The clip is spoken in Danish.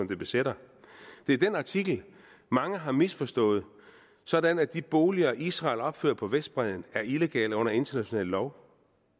det besætter det er den artikel mange har misforstået sådan at de boliger israel opfører på vestbredden er illegale under international lov